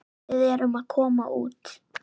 Við erum að koma út.